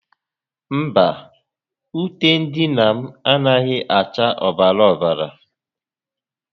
Mba, ute ndina m anaghi acha obara obara